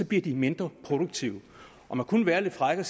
bliver de mindre produktive og man kunne være lidt fræk og